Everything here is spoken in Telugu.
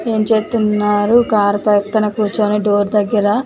ఏం చేస్తున్నారు కార్ పక్కన కూర్చొని డోర్ దగ్గర --.